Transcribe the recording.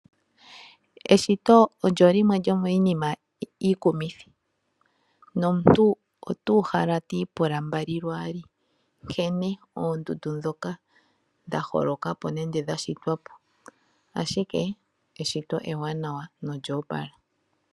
Eshito olyo limwe lyomiinima iikumithi nomuntu otuuhala owala twiipula mbalilwaali nkene oondundu ndhoka dha holoka ka po nenge dha shitwa po, ashike eshito ewanawa nolya opala.